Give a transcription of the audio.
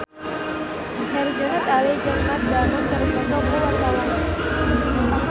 Herjunot Ali jeung Matt Damon keur dipoto ku wartawan